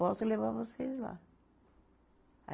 Posso levar vocês lá.